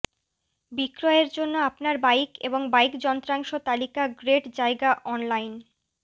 বিক্রয়ের জন্য আপনার বাইক এবং বাইক যন্ত্রাংশ তালিকা গ্রেট জায়গা অনলাইন